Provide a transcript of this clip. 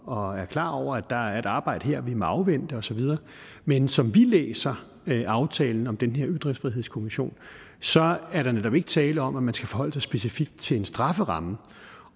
og er klar over at der er et arbejde her vi må afvente osv men som vi læser aftalen om den her ytringsfrihedskommission så er der netop ikke tale om at man skal forholde sig specifikt til en strafferamme